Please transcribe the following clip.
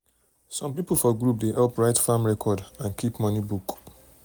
some people for group dey help write farm record and keep money book.